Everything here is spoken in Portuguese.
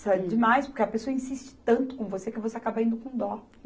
demais, porque a pessoa insiste tanto com você que você acaba indo com dó.